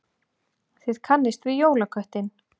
Þið kannist við jólaköttinn.